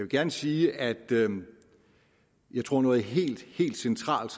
gerne sige at jeg tror at noget helt helt centralt